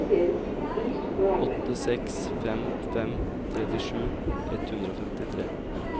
åtte seks fem fem trettisju ett hundre og femtitre